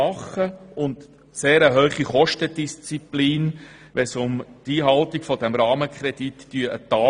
Sie legt eine sehr hohe Kostendisziplin an den Tag, wenn es um die Einhaltung des Rahmenkredits geht.